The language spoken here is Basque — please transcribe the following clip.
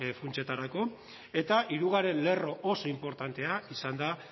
funtsetarako eta hirugarren lerro oso inportantea izan da